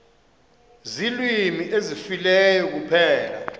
ziilwimi ezifileyo kuphela